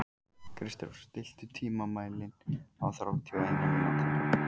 Kristrós, stilltu tímamælinn á þrjátíu og eina mínútur.